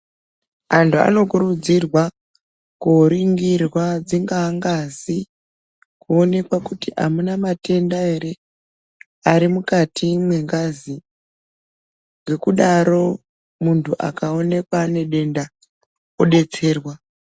Antu anotokurudzirwakuongororwa dzinga ngazikuoneķa kuti amunà matenda here mukati mengazi ngekudaro muntu akaonekwa nematenda odetserwa.